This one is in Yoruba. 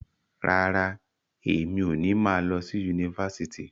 Rárá, emi o ni ma lọ sí yunifásítì.